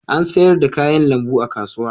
An sayar da kayan lambu a kasuwa.